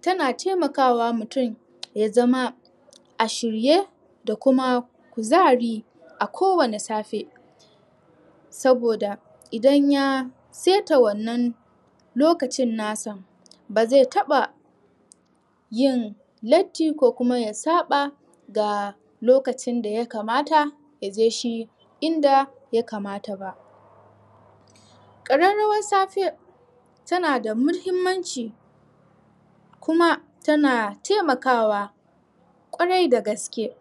Tana taimaka wa mutum ya zama a shirye da kuma kuzari a kowanne safe Saboda idan ya saita wannan lokacin nasa Ba zai taɓa Yin Latti ko kuma ya saɓa ga lokacin da ya kamata ya je shi inda ya kamata ba ƙararawar safe tana da muhimmanci Kuma tana taimakawa Kwarai da gaske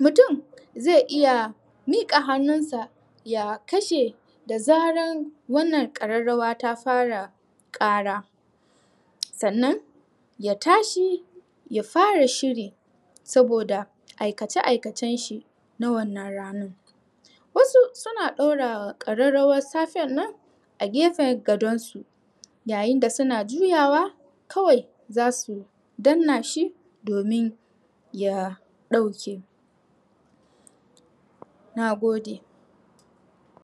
Mutum zai iya miƙa hannun sa ya kashe da zaran wannan ƙararawa ta fara ƙara Sannan ya tashi ya fara shiri saboda aikace aikacen shi na wannan ranar Wasu suna ɗora ƙararawar safen nan a gefen gadan su Yayin da suna juyawa kawai zasu danna shi domin ya ɗauke Nagode